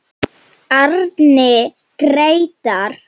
Árni Grétar.